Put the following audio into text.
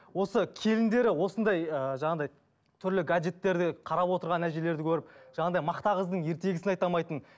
осы келіндері осындай ы жаңағындай түрлі гаджеттерде қарап отырған әжелерді көріп жаңағындай мақта қыздың ертегісін айта алмайтын